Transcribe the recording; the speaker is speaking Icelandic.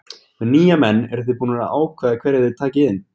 Með nýja menn eruð þið búnir að ákveða hverja þið takið inn?